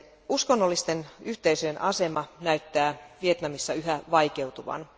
Uskonnollisten yhteisöjen asema näyttää Vietnamissa yhä vaikeutuvan.